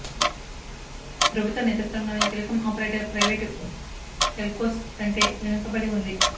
ప్రభుత్వ నేతృత్వంలోని telecom operator private telcos కంటే వెనుకబడి ఉంది